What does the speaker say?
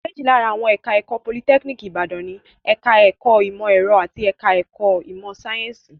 Méjì lára àwọn ẹ̀ka-ẹ̀kọ́ Politẹ́kíníkì Ìbàdàn ni; ẹ̀ka-ẹ̀kọ́ ìmọ̀-ẹ̀rọ àti ẹ̀ka-ẹ̀kọ́ ìmọ̀-sáyẹ́ńsì.